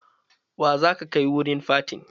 Wa za ka kai wurin fatin?